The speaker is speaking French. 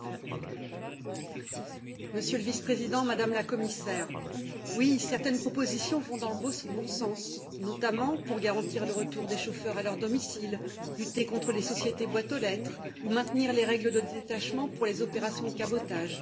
Madame la Présidente, Monsieur le Vice président, Madame la Commissaire, oui certaines propositions vont dans le bon sens, notamment pour garantir le retour des chauffeurs à leur domicile, lutter contre les sociétés boîtes aux lettres ou maintenir les règles de détachement pour les opérations de cabotage.